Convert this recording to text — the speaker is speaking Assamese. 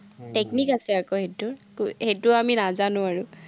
technique আছে আকৌ সেইটোৰ, সেইটো আমি নজানো আৰু।